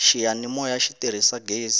xiyanimoya xi tirhisa ghezi